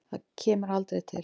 Það kemur aldrei til.